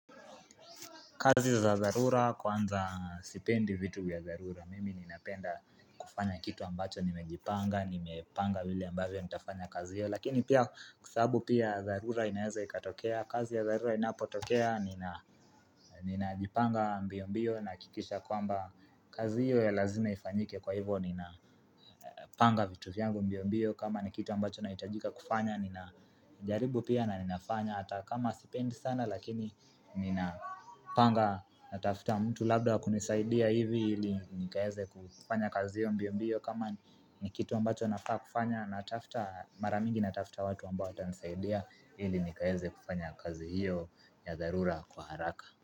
Kazi za dharura kwanza sipendi vitu vya dharura Mimi ninapenda kufanya kitu ambacho nimejipanga nimepanga vile ambavyo nitafanya kazi hiyo Lakini pia sababu pia dharura inaeza ikatokea kazi ya dharura inapotokea ninajipanga mbio mbio Nahakikisha kwamba kazi hiyo ya lazima ifanyike kwa hivo Ninapanga vitu vyangu mbio mbio kama ni kitu ambacho naitajika kufanya Ninajaribu pia na ninafanya Atakama sipendi sana lakini nina panga natafta mtu labda wakunisaidia hivi ili nikaeze kufanya kazi hiyo mbio mbio kama ni kitu ambacho nafaa kufanya Natafta mara mingi natafta watu ambao watanisaidia ili nikaeze kufanya kazi hiyo ya dharura kwa haraka.